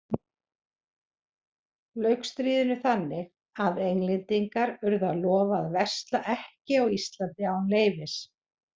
Lauk stríðinu þannig að Englendingar urðu að lofa að versla ekki á Íslandi án leyfis.